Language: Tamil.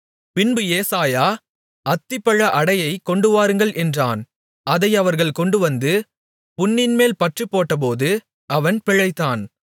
பின்பு ஏசாயா அத்திப்பழ அடையைக் கொண்டுவாருங்கள் என்றான் அதை அவர்கள் கொண்டுவந்து புண்ணின்மேல் பற்றுப்போட்டபோது அவன் பிழைத்தான்